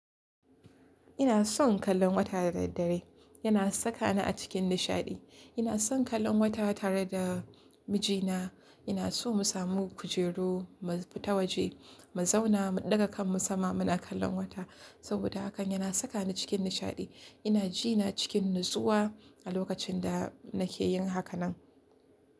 Ina son kallon wata da daddare. Yana saka ni a cikin nishaɗi. Ina son kallon wata tare da mijina. Ina so mu samu kujeru mu fita waje, mu zauna mu ɗaga kanmu sama muna kallon wata saboda hakan yana saka ni cikin nishaɗi. Ina jina cikin natsuwa a lokacin da nake yin hakan nan.